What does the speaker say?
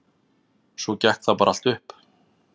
Svo gekk það bara allt upp.